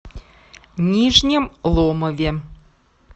нижнем ломове